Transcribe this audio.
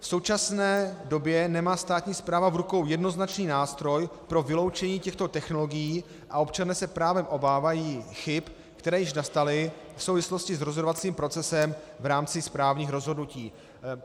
V současné době nemá státní správa v rukou jednoznačný nástroj pro vyloučení těchto technologií a občané se právem obávají chyb, které již nastaly v souvislosti s rozhodovacím procesem v rámci správních rozhodnutí.